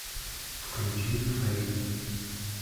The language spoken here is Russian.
включи фэйд